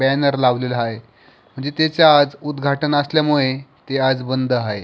Banner लावलेला आहे म्हणजे त्याच आज उदघाटन असल्यामुळे ते बंद आहे.